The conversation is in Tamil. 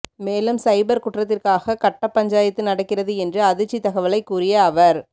மேலும் சைபர் குற்றத்திற்காக கட்டப்பஞ்சாயத்து நடக்கிறது என்று அதிர்ச்சி தகவலை கூறிய அவர்